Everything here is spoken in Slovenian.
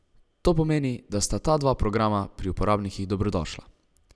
To pomeni, da sta ta dva programa pri uporabnikih dobrodošla.